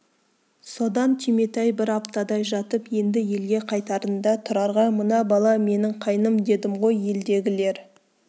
содан түйметай бір аптадай жатып енді елге қайтарында тұрарға мына бала менің қайным дедім ғой елдегілер